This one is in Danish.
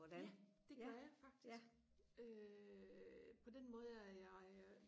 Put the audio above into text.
ja det gør jeg faktisk øh på den måde at jeg øh